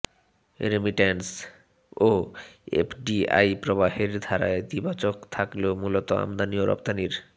remittance ও এফডিআইপ্রবাহের ধারা ইতিবাচক থাকলেও মূলত আমদানি ও রপ্তানির